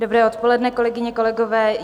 Dobré odpoledne, kolegyně, kolegové.